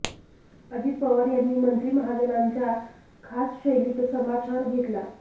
अजित पवार यांनी मंत्री महाजनांचा खास शैलीत समाचार घेतला